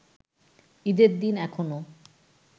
ঈদের দিন এখনো